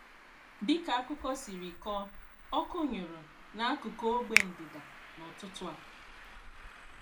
Dịka akụkọ siri kọọ, ọkụ nyụrụ n'akuku ogbe ndịda n'ụtụtụ a.